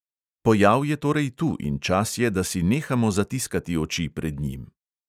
Pojav je torej tu in čas je, da si nehamo zatiskati oči pred njim.